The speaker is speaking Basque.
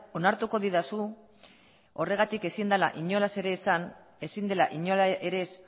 onartuko didazu horregatik ezin dela inolaz ere esan ezin dela inola ere ez